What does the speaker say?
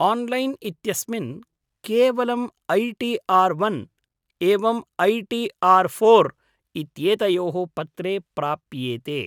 Online इत्यस्मिन् केवलम् I T R one, एवम् ऐ टी आर् फोर् इत्येतयोः पत्रे प्राप्येते।